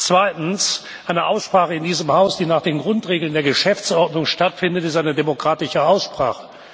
Zweitens Eine Aussprache in diesem Haus, die nach den Grundregeln der Geschäftsordnung stattfindet, ist eine demokratische Aussprache.